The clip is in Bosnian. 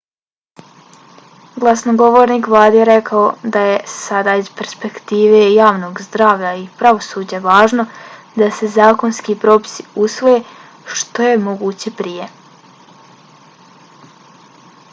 glasnogovornik vlade je rekao da je sada iz perspektive javnog zdravlja i pravosuđa važno da se zakonski propisi usvoje što je moguće prije.